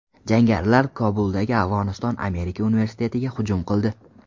Jangarilar Kobuldagi Afg‘oniston Amerika universitetiga hujum qildi.